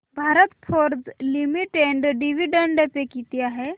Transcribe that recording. Bharat forge limited dividend pay किती आहे